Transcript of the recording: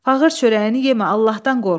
Fağır çörəyini yemə, Allahdan qorx.